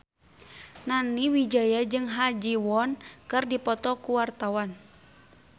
Nani Wijaya jeung Ha Ji Won keur dipoto ku wartawan